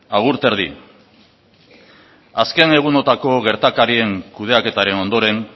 agur terdi azken egunetako gertakarien kudeaketaren ondoren